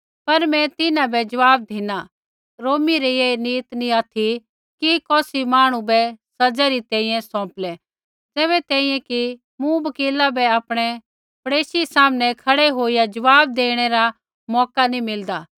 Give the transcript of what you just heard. पर मैं तिन्हां बै ज़वाब धिना रोमी री ऐ रीत नी ऑथि कि कौसी मांहणु बै सज़ै री तैंईंयैं सौंपलै ज़ैबै तैंईंयैं कि मुवकिला बै आपणै मुद्दई सामनै खड़ै होईया ज़वाब देणै रा मौका नी मिलदा